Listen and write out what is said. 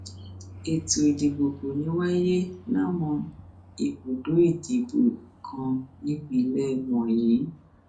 ètò ìdìbò kò ní í wáyé láwọn ibùdó ìdìbò kan nípínlẹ wọnyí